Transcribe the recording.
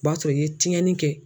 O b'a sɔrɔ i ye tiɲɛni kɛ.